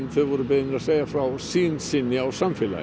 þau voru beðin að segja frá sýn sinni á samfélagið